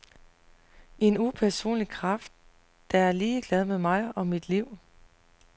En upersonlig kraft, der er ligeglad med mig og mit liv.